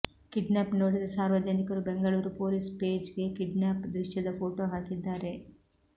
kidnap ನೋಡಿದ ಸಾರ್ವಜನಿಕರು Bengaluru police ಪೇಜ್ಗೆ ಕಿಡ್ನ್ಯಾಪ್ ದೃಶ್ಯದ ಫೋಟೋ ಹಾಕಿದ್ದಾರೆ